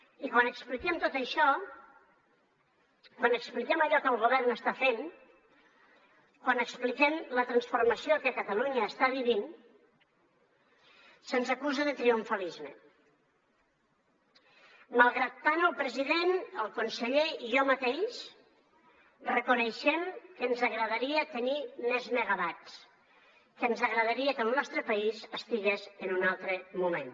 i quan expliquem tot això quan expliquem allò que el govern està fent quan expliquem la transformació que catalunya està vivint se’ns acusa de triomfalisme malgrat que tant el president i el conseller com jo mateix reconeixem que ens agradaria tenir més megawatts que ens agradaria que el nostre país estigués en un altre moment